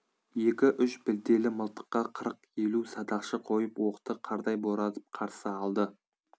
екі-үш білтелі мылтыққа қырық елу садақшы қойып оқты қардай боратып қарсы алды